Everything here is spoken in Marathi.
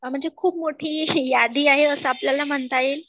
म्हणजे खूप मोठी यादी आहे असं आपल्याला म्हणता येईल